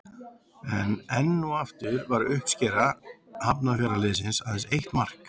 En enn og aftur var uppskera Hafnarfjarðarliðsins aðeins eitt mark.